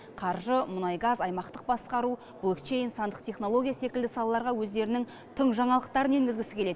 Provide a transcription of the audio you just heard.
қаржы мұнай газ аймақтық басқару блокчейн сандық технология секілді салаларға өздерінің тың жаңалықтарын енгізгісі келеді